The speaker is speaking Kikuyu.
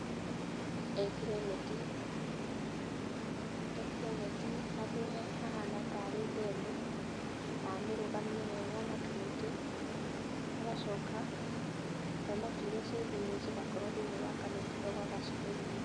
Ekĩre neti, ekĩre neti handũ hahana ta arĩ ndemu na amĩrũgamie wega na tũmĩtĩ, agacoka thamaki iria ciĩ thĩiniĩ cigakorwo thĩiniĩ wa kaneti kau agacihe irio.